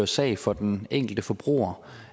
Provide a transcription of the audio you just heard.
sag for den enkelte forbruger